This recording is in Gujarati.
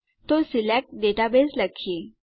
તો સિલેક્ટ દાતા બસે લખીએ